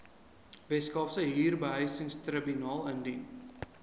weskaapse huurbehuisingstribunaal indien